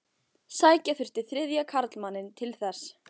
Sækja þurfti þriðja karlmanninn til þess.